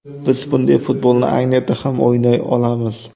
Biz bunday futbolni Angliyada ham o‘ynay olamiz.